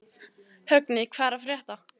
Högni, hvað er að frétta?